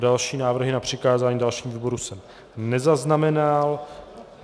Další návrhy na přikázání dalšímu výboru jsem nezaznamenal.